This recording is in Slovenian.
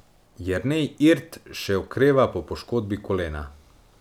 Jernej Irt še okreva po poškodbi kolena.